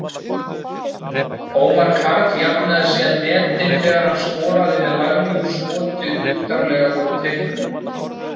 Ómar Karl jafnaði síðan metin þegar hann skoraði með laglegu skoti utarlega úr teignum.